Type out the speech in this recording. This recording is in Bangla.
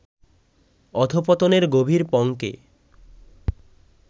অধঃপতনের গভীর পঙ্কে